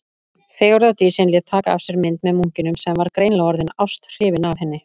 Fegurðardísin lét taka af sér mynd með munkinum, sem var greinilega orðinn ásthrifinn af henni.